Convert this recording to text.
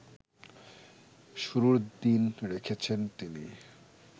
শুরুর দিন রেখেছেন তিনি